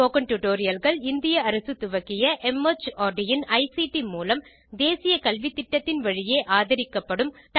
spoken Tutorialகள் இந்திய அரசு துவக்கிய மார்ட் இன் ஐசிடி மூலம் தேசிய கல்வித்திட்டத்தின் வழியே ஆதரிக்கப்படும் டால்க் டோ ஆ டீச்சர் திட்டத்தின் ஒரு அங்கமாகும்